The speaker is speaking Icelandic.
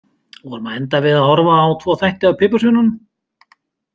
Vorum að enda við að horfa á tvo þætti af Piparsveininum.